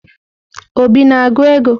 Obi na-agụ ego?